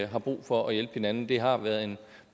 har brug for at hjælpe hinanden det har været en